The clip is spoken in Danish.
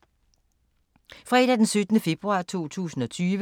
Fredag d. 7. februar 2020